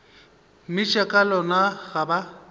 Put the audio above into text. mmitša ka lona ga ba